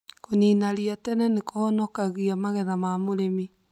Kũnina ria tene nĩkũhonokagia magetha ma mũrĩmi